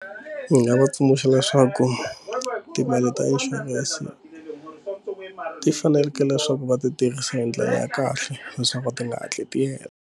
Ndzi nga va tsundzuxa leswaku timali ta inshurense ti faneleke leswaku va ti tirhisa hi ndlela ya kahle leswaku ti nga hatli ti hela.